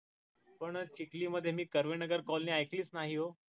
पण चिखली मध्ये मी कर्वे नगर colony एकलीईच नाही हो